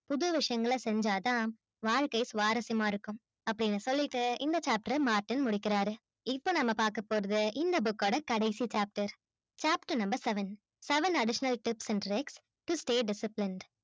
புது விழயங்கள செஞ்சா தான் வாழ்கை சுவாரசியமா இருக்கும் அப்பிடின்னு சொல்லிட்டு இந்த chapter அ martin முடிக்கிறாரு இப்போ நம்ம பாக்கபோறது இந் book ஓட கடைசி chapter. chapter number seven - seven additional tips and tricks to stay disciplined